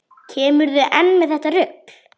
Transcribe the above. Kemurðu enn með þetta rugl!